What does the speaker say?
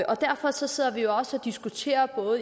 derfor sidder vi jo også og diskuterer